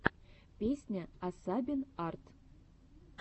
песня асабин арт